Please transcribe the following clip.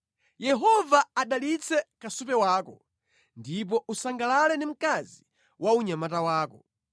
Yehova adalitse kasupe wako, ndipo usangalale ndi mkazi wa unyamata wako.